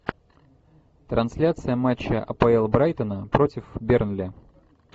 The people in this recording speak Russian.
трансляция матча апл брайтона против бернли